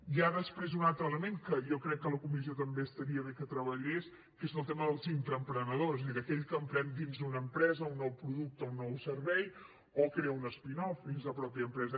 hi ha després un altre element que jo crec que la comissió també estaria bé que treballés que és el tema dels intraemprenedors és a dir d’aquell que emprèn dins d’una empresa un nou producte un nou servei o crea una spin off dins la mateixa empresa